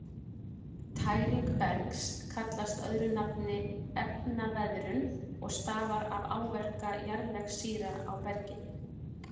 Tæring bergs kallast öðru nafni efnaveðrun og stafar af áverka jarðvegssýra á bergið.